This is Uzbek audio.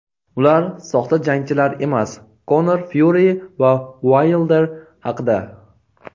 Ular soxta jangchilar emas – Konor Fyuri va Uaylder haqida.